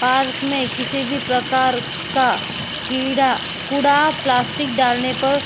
park में किसी भी प्रकार का कीड़ा कुड़ा प्लास्टिक डालने पर --